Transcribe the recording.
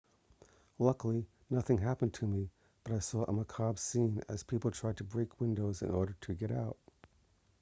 luckily nothing happened to me but i saw a macabre scene as people tried to break windows in order to get out